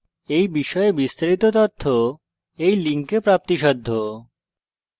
এই বিষয়ে বিস্তারিত তথ্য এই link প্রাপ্তিসাধ্য http:// spokentutorial org/nmeictintro